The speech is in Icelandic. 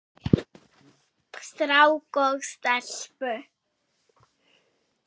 Strák og stelpu.